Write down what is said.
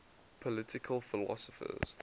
political philosophers